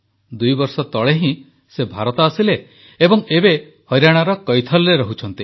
ଦୁଇବର୍ଷ ତଳେ ହିଁ ସେ ଭାରତ ଆସିଲେ ଏବଂ ଏବେ ହରିଆଣାର କୈଥଲରେ ରହୁଛନ୍ତି